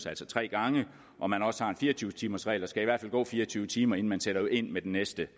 altså tre gange og man også har en fire og tyve timersregel der skal i hvert fald gå fire og tyve timer inden man sætter ind med den næste